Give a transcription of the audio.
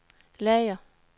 lager